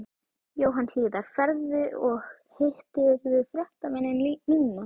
Jóhann Hlíðar: Ferðu og, hittirðu fréttamennina núna?